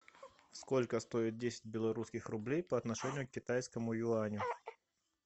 сколько стоит десять белорусских рублей по отношению к китайскому юаню